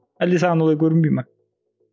әлде саған олай көрінбей ме